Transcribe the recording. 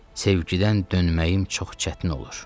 Sevgidən dönməyim çox çətin olur.